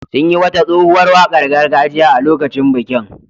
Sun yi wata tsohuwar wakar gargajiya a lokacin bikin.